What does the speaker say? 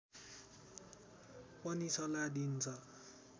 पनि सल्लाह दिइन्छ